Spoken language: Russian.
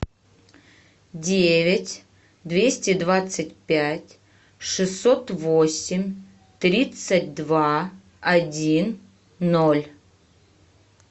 девять двести двадцать пять шестьсот восемь тридцать два один ноль